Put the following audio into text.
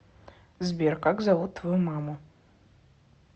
сбер как зовут твою маму